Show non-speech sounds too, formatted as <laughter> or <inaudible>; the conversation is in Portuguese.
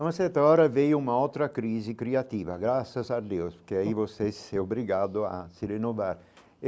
Uma certa hora veio uma outra crise criativa, graças a Deus, porque aí você <unintelligible> é obrigado a se renovar.